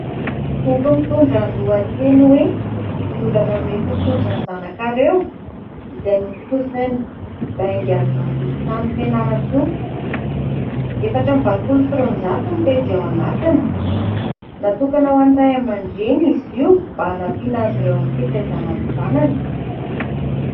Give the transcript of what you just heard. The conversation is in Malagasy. Boky mitondra ny lohateny hoe : "Ny olana mety ho tojo ny zanakareo" izay notontosain'ny baingan'Ambozontany Fianarantsoa ; efatra amby roapolo sy roanjato pejy ao anatiny. Natokana ho an'ny ray aman-dreny izy io mba hanampiana azy ireo amin'ny fitaizana ny zanany.